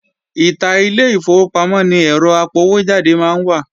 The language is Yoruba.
Ìta ilé ìfowópamọ́ ni ẹ́rọ apọwójáde máa ń wà